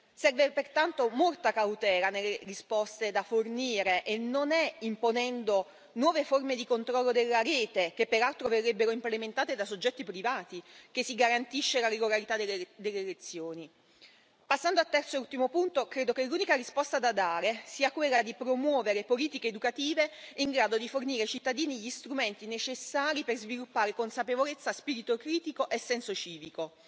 Serve pertanto molta cautela nelle risposte da fornire e non è imponendo nuove forme di controllo della rete, che peraltro verrebbero implementate da soggetti privati, che si garantisce la regolarità delle elezioni. Passando al terzo ed ultimo punto, credo che l'unica risposta da dare sia quella di promuovere politiche educative in grado di fornire ai cittadini gli strumenti necessari per sviluppare consapevolezza, spirito critico e senso civico.